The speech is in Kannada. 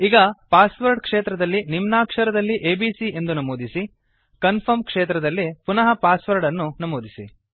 ಈಗ ಪಾಸ್ವರ್ಡ್ ಕ್ಷೇತ್ರದಲ್ಲಿ ನಿಮ್ನಾಕ್ಷರದಲ್ಲಿ ಎಬಿಸಿ ಎಂದು ನಮೂದಿಸಿ ಕನ್ಫರ್ಮ್ ಕ್ಷೆತ್ರದಲ್ಲಿ ಪುನಃ ಪಾಸ್ ವರ್ಡ್ ಅನ್ನು ನಮೂದಿಸಿ